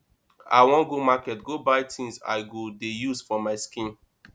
i wan go market go buy things i go dey use for my skin